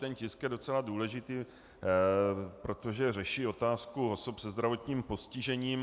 Ten tisk je docela důležitý, protože řeší otázku osob se zdravotním postižením.